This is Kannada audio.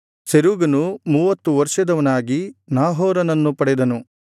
ಸೆರೂಗನು ಮೂವತ್ತು ವರ್ಷದವನಾಗಿ ನಾಹೋರನನ್ನು ಪಡೆದನು